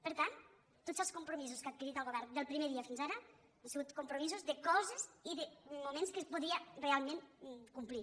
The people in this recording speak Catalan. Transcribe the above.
per tant tots els compromisos que ha adquirit el govern del primer dia fins ara han sigut compromisos de coses i de mo·ments que es podien realment complir